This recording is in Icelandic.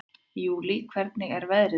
Júlí, hvernig er veðrið úti?